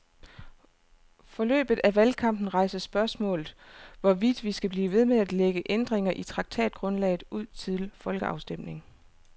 Forløbet af valgkampen rejser spørgsmålet, hvorvidt vi skal blive ved med at lægge ændringer i traktatgrundlaget ud til folkeafstemning.